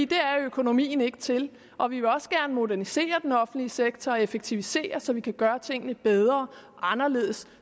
det er økonomien ikke til og vi vil også gerne modernisere den offentlige sektor og effektivisere så vi kan gøre tingene bedre og anderledes